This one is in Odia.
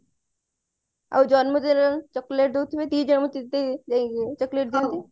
ଆଉ ଜନ୍ମ ଦିନରେ chocolate ଦଉଥିବେ ଦି ଜଣ ଦି ଜଣଙ୍କୁ chocolate ଦିଅନ୍ତି